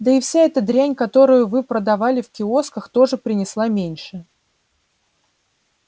да и вся эта дрянь которую вы продавали в киосках тоже принесла меньше